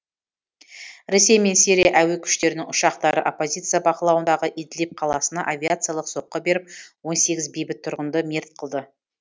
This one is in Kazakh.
ресей мен сирия әуе күштерінің ұшақтары оппозиция бақылауындағы идлиб қаласына авиациялық соққы беріп он сегіз бейбіт тұрғынды мерт қылды